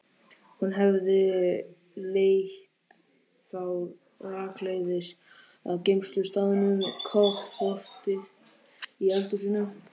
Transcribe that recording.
Hún hefði leitt þá rakleiðis að geymslustaðnum, kofforti í eldhúsinu.